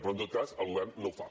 però en tot cas el govern no ho fa